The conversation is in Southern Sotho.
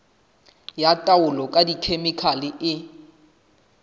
ya taolo ka dikhemikhale e